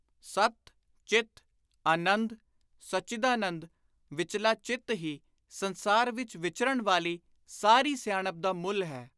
ਸੱਤ, ਚਿੱਤ, ਆਨੰਦ (ਸੱਚਿਦਾਨੰਦ) ਵਿਚਲਾ ਚਿੱਤ ਹੀ ਸੰਸਾਰ ਵਿਚ ਵਿਚਰਣ ਵਾਲੀ ਸਾਰੀ ਸਿਆਣਪ ਦਾ ਮੁਲ ਹੈ।